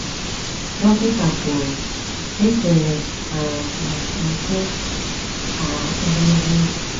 Dọkịta kwuru: “Echere um m nke a ogologo oge!”